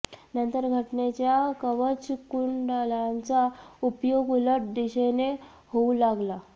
नंतर घटनेच्या कवचकुंडलांचा उपयोग उलट दिशेने होऊ लागला